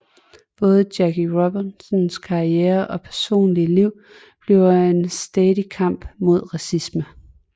Både Jackie Robinsons karriere og personliga liv bliver en stædig kamp mod racisme